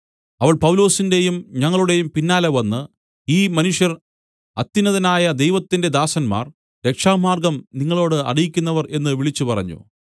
അവൾ പൗലൊസിന്റെയും ഞങ്ങളുടെയും പിന്നാലെ വന്ന് ഈ മനുഷ്യർ അത്യുന്നതനായ ദൈവത്തിന്റെ ദാസന്മാർ രക്ഷാമാർഗ്ഗം നിങ്ങളോട് അറിയിക്കുന്നവർ എന്ന് വിളിച്ചുപറഞ്ഞു